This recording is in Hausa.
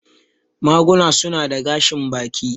Maguna su na da gashin baki.